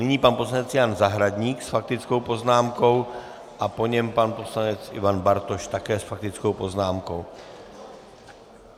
Nyní pan poslanec Jan Zahradník s faktickou poznámkou a po něm pan poslanec Ivan Bartoš také s faktickou poznámkou.